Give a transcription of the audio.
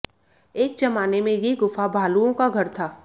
एक जमाने में ये गुफा भालुओं का घर था